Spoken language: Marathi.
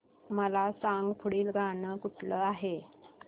मला सांग पुढील गाणं कुठलं आहे